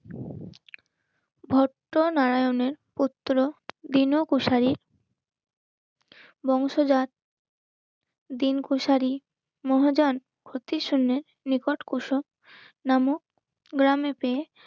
ভক্ত নারায়ণের পুত্র, পিণো কুশারী বংশজাত দিন কুশারী মহাজন ক্ষতির শুন্যে নিকট কুশক নামক গ্রামে